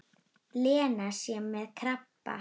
Lena sé með krabba.